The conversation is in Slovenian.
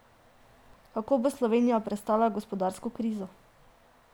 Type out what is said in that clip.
Kako bo Slovenija prestala gospodarsko krizo?